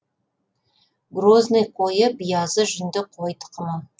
грозный қойы биязы жүнді қой тұқымы